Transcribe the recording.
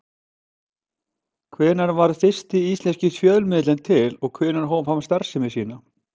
Hvenær varð fyrsti íslenski fjölmiðillinn til og hvenær hóf hann starfsemi sína?